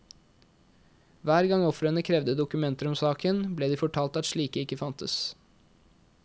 Hver gang ofrene krevde dokumenter om saken, ble de fortalt at slike ikke fantes.